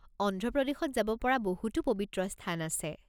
অন্ধ্ৰ প্ৰদেশত যাব পৰা বহুতো পৱিত্ৰ স্থান আছে।